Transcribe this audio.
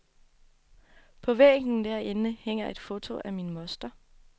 På væggen derinde hænger et foto af min moster.